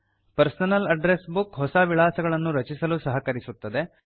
personal address book ಹೊಸ ವಿಳಾಸಗಳನ್ನು ರಚಿಸಲು ಸಹಕರಿಸುತ್ತದೆ